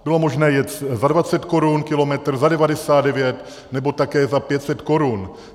Bylo možné jet za 20 korun kilometr, za 99, nebo také za 500 korun.